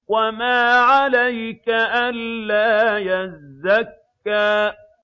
وَمَا عَلَيْكَ أَلَّا يَزَّكَّىٰ